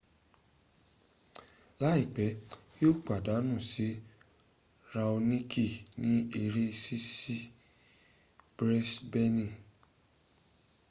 laipe yi o padanu si raoniki ni ere sisi brisbeni